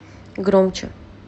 громче